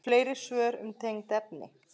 Fleiri svör um tengd efni